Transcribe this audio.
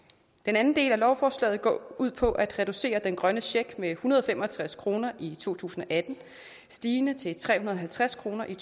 den anden del af lovforslaget går ud på at reducere den grønne check med en hundrede og fem og tres kroner i to tusind og atten stigende til tre hundrede og halvtreds kroner i